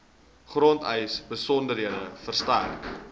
grondeise besonderhede verstrek